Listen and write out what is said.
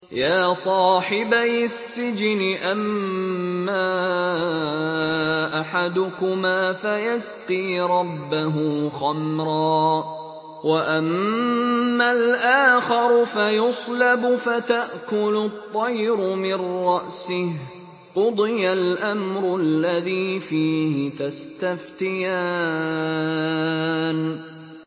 يَا صَاحِبَيِ السِّجْنِ أَمَّا أَحَدُكُمَا فَيَسْقِي رَبَّهُ خَمْرًا ۖ وَأَمَّا الْآخَرُ فَيُصْلَبُ فَتَأْكُلُ الطَّيْرُ مِن رَّأْسِهِ ۚ قُضِيَ الْأَمْرُ الَّذِي فِيهِ تَسْتَفْتِيَانِ